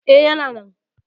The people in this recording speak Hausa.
E, yana nan.